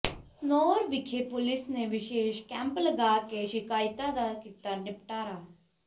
ਸਨੌਰ ਵਿਖੇ ਪੁਲਿਸ ਨੇ ਵਿਸ਼ੇਸ਼ ਕੈਂਪ ਲਗਾ ਕੇ ਸ਼ਿਕਾਇਤਾਂ ਦਾ ਕੀਤਾ ਨਿਪਟਾਰਾ